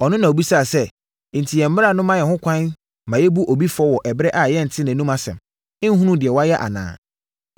Ɔno na ɔbisaa sɛ, “Enti yɛn mmara ma ho kwan ma yɛbu obi fɔ wɔ ɛberɛ a yɛntee nʼanom asɛm, nhunuu deɛ wayɛ anaa?”